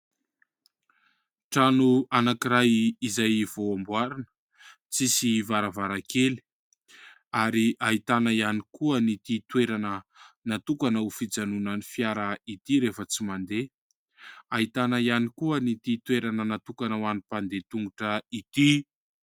Trano anankiray izay vao amboarina, tsisy varavarankely ary ahitana ihany koa an'ity toerana natokana ho fijanonan'ny fiara ity rehefa tsy mandeha. Ahitana ihany koa an'ity toerana natokana ho an'ny mpandeha tongotra ity.